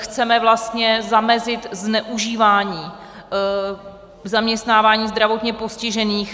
Chceme vlastně zamezit zneužívání zaměstnávání zdravotně postižených.